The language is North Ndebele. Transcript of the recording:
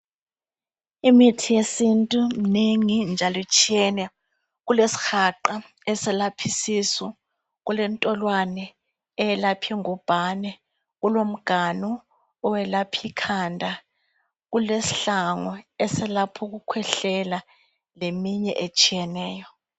Imithi yesintu minengi njalo itshiyene. Kulesihaqa eselaph’ isisu, kulentolwane eyelaphi ngubhane, kulomganu owelaphi khanda kulesihlangwe eselaph’ ukukhwehlela leminye etshiyeneyo.